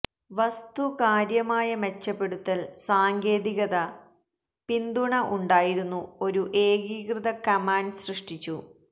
വസ്തു കാര്യമായ മെച്ചപ്പെടുത്തൽ സാങ്കേതിക പിന്തുണ ഉണ്ടായിരുന്നു ഒരു ഏകീകൃത കമാൻഡ് സൃഷ്ടിച്ചു